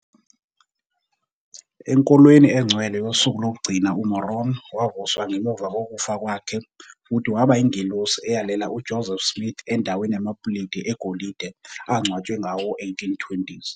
Enkolweni Engcwele Yosuku Lokugcina, uMoroni wavuswa ngemuva kokufa kwakhe futhi waba yingelosi eyalela uJoseph Smith endaweni yamapuleti egolide angcwatshwe ngawo-1820s.